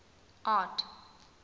art